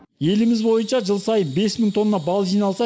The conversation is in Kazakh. еліміз бойынша жыл сайын бес мың тонна бал жиналса